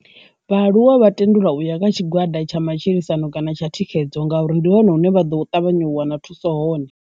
Vhaaluwa vha tendelwa uya vha tshigwada tsha matshilisano kana tsha thikhedzo ngauri ndi hone hune vha ḓo ṱavhanya u wana thuso hone.